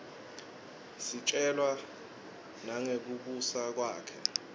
sitjelwa nangekubusa kwakhe